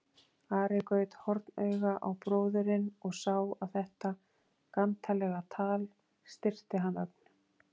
Ari gaut hornauga á bróðurinn og sá að þetta gantalega tal styrkti hann ögn.